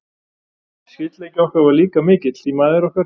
Skyldleiki okkar var líka mikill, því mæður okkar